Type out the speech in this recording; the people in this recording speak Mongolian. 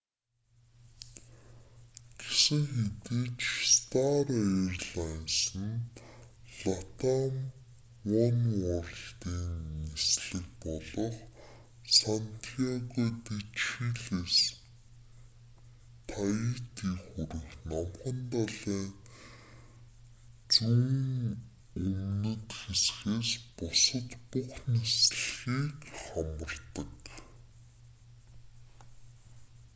гэсэн хэдий ч стар алайнсе нь латам онеуорлдын нислэг болох сантьяго де чилээс таити хүрэх номхон далайн зүүн өмнөд хэсгээс бусад бүх нислэгийг хамардаг